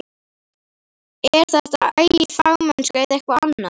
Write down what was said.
Er þetta agi og fagmennska eða eitthvað annað?